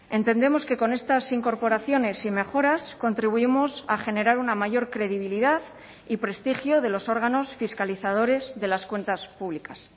entendemos que con estas incorporaciones y mejoras contribuimos a generar una mayor credibilidad y prestigio de los órganos fiscalizadores de las cuentas públicas